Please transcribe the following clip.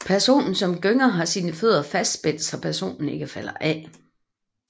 Personen som gynger har sine fødder fastspændt så personen ikke falder af